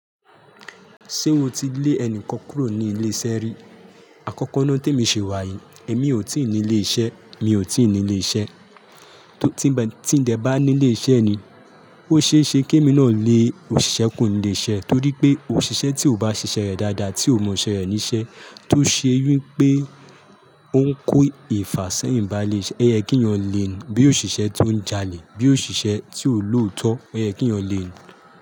Ṣé mo ti lé ẹni kan kúrò ní ilé iṣẹ́ rí? Àkọ́kọ́ náà témi ṣe wàyií, èmi ò tí ní ilé iṣẹ́, mi ò tí ní ilé iṣẹ́. Tí ń dẹ bá ní ilé iṣẹ́ ni, ó ṣe é ṣe kí èmi náà lé òṣìṣẹ́ kúrò nilé iṣẹ́ torí pé òṣìṣẹ́ tí ò bá ṣiṣẹ́ rẹ̀ dáadáa, tí ò mọ iṣẹ́ rẹ̀ níṣẹ́, tó ṣe wi pé ó ń kó ìfà sẹ́yìn bá ilé iṣẹ́, oyẹ kí yàn lé ni, bí òṣìṣẹ́ tó ń jalè, bí òṣìṣẹ́ tí ò lòótọ́, oyẹ kí yàn lé e.